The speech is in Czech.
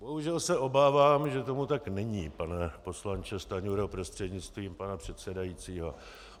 Bohužel se obávám, že tomu tak není, pane poslanče Stanjuro prostřednictvím pana předsedajícího.